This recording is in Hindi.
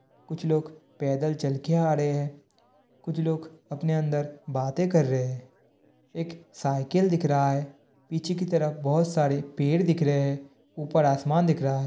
कुछ लोग पेदल चल के आ रहे है। कुछ लोग अपने अंदर बाते कर रहे है। एक साइकिल दिख रहा है। पीछे की तरफ बहुत सारे पैड दिख रहे ह। उपर आसमान दिख रहा है।